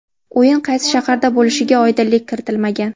O‘yin qaysi shaharda bo‘lishiga oydinlik kiritilmagan.